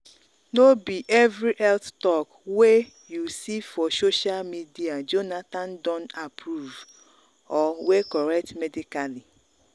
no be every health talk wey wey you see for social media jonathon don approve or wey correct medically.